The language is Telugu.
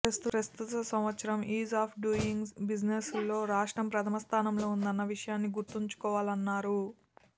ప్రస్తుత సంవత్సరం ఈజ్ ఆఫ్ డూయింగ్ బిజినెస్లో రాష్ట్రం ప్రధమ స్థానంలో ఉందన్న విషయాన్ని గుర్తుంచుకోవాలన్నారు